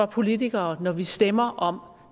politikere når vi stemmer om